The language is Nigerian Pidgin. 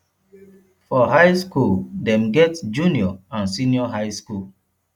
for high school dem get junior and senior high school